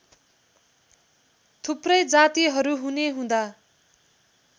थुप्रै जातिहरू हुनेहुँदा